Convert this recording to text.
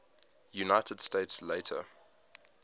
united states later